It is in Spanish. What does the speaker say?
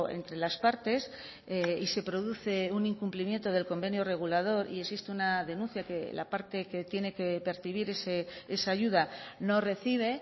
entre las partes y se produce un incumplimiento del convenio regulador y existe una denuncia que la parte que tiene que percibir esa ayuda no recibe